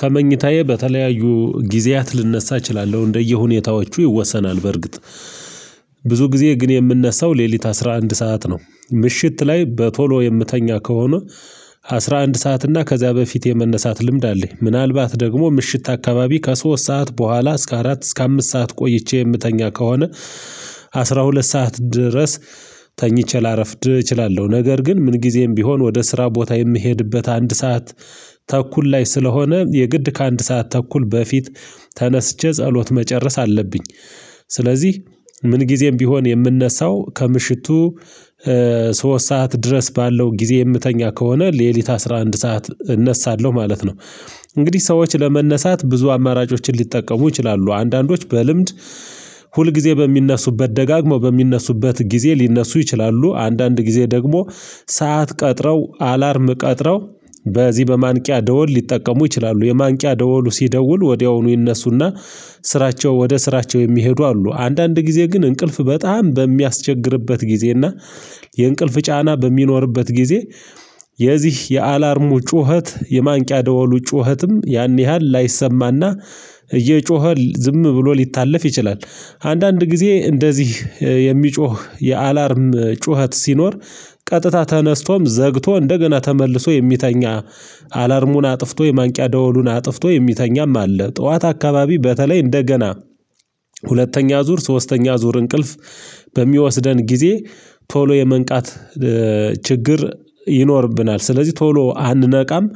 ከመኝታዬ በተለያዩ ጊዜያት ልነሳ እችላለሁ እንደየሁኔታዎቹ ይወሰናል በርግጥ። ብዙ ጊዜ ግን የምነሳው ሌሊት አስራ አንድ ሰዓት ነው ምሽት ላይ በቶሎ የምተኛ ከሆነ አስራ አንድ ሰዓት እና ከዚያ በፊት የመነሳት ልምድ አለኝ። ምናልባት ደግሞ ምሽት አካባቢ ከሶስት ሰዓት በኋላ እስከ አራት እስከ አምስት ሰዓት ቆይቼ የምተኛ ከሆነ አስራ ሁለት ሰዓት ድረስ። ተኝቼ ላረፍድ እችላለሁ ነገር ግን ምን ጊዜም ቢሆን ወደ ስራ ቦታ የምሄድበት አንድ ሰዓት ተኩል ላይ ስለሆነ የግድ ከአንድ ሰዓት ተኩል በፊት ተነስቼ ጸሎት መጨረስ አለብኝ። ስለዚህ ምን ጊዜም ቢሆን የምንነሳው ከምሽቱ ሶስት ሰዓት ድረስ ባለው ጊዜ የምተኛ ከሆነ ሌሊት አስራ አንድ ሰዓት እነሳለሁ ማለት ነው። እንግዲህ ሰዎች ለመነሳት ብዙ አማራጮችን ሊጠቀሙ ይችላሉ አንዳንዶች በልምድ ሁል ጊዜ በሚነሱበት ደጋግሞ በሚነሱበት ጊዜ ሊነሱ ይችላሉ። አንዳንድ ጊዜ ደግሞ ሰዓት ቀጥረው አላርም ቀጥረው በዚህ በማንቂያ ደወል ሊጠቀሙ ይችላሉ። የማንቂያ ደወሉ ሲደውል ወዲያውኑ ይነሱና ስራቸው ወደ ስራቸው የሚሄዱ አሉ። አንዳንድ ጊዜ ግን እንቅልፍ በጣም በሚያስቸግርበት ጊዜ እና የእንቅልፍ ጫና በሚኖርበት ጊዜ የዚህ የአላርሙ ጩኸት የማንቂያ ደወሉ ጩኸትም ያን ያህል ላይሰማና እየጮኸ ዝም ብሎ ሊታለፍ ይችላል። አንዳንድ ጊዜ እንደዚህ የሚጮህ የአላርም ጩኸት ሲኖር ቀጥታ ተነስቶም ዘግቶ እንደገና ተመልሶ የሚተኛ አላርሙን አጥፍቶ የማንቂያ ደወሉን አጥፍቶ የሚተኛም አለ። ጠዋት አካባቢ በተለይ እንደገና ሁለተኛ ዙር ሶስተኛ ዙር እንቅልፍ በሚወስደን ጊዜ ቶሎ የመንቃት ችግር ይኖርብናል። ስለዚህ ቶሎ አንነቃም